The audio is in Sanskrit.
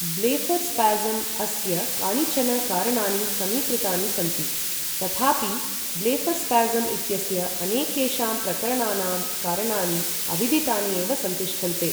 ब्लेफ़रस्पाज़म् अस्य कानिचन कारणानि समीकृतानि सन्ति, तथापि ब्लेफ़रस्पाज़म् इत्यस्य अनेकेषां प्रकरणानां कारणानि अविदितानि एव सन्तिष्ठन्ते।